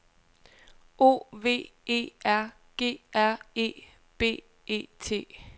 O V E R G R E B E T